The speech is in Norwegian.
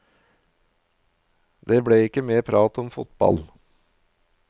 Det ble ikke mer prat om fotball.